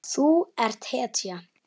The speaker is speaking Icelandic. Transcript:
Þú ert hetja.